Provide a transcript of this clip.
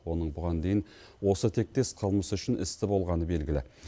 оның бұған дейін осы тектес қылмыс үшін істі болғаны белгілі